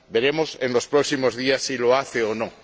veremos en los próximos días si lo hace o no.